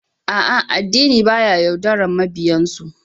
A'a, addini baya yaudarar mabiyansu